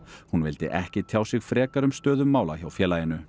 hún vildi ekki tjá sig frekar um stöðu mála hjá félaginu